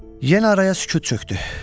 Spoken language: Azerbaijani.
Yenə araya sükut çökdü.